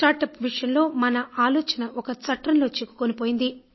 start up విషయంలో మన ఆలోచన ఒక చట్రంలో చిక్కుకుని పోయింది